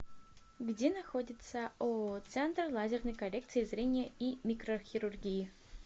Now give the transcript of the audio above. где находится ооо центр лазерной коррекции зрения и микрохирургии